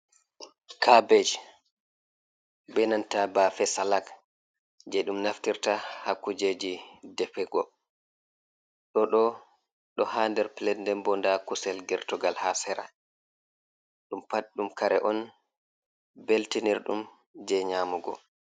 Kabej be nanta baafe salak, jey ɗum naftirta haa kujeji defego, ɗo ɗo haa nder pilet, nden bo ndaa kusel gertogal haa sera, ɗum pat ɗum kare on beltinirɗum, jey nyaamugo.